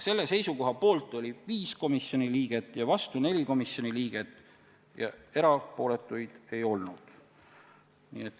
Selle seisukoha poolt oli 5 komisjoni liiget ja vastu 4 komisjoni liiget ning erapooletuid ei olnud.